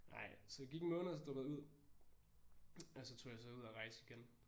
Nej så jeg gik en måned og så droppede jeg ud og så tog jeg så ud og rejse igen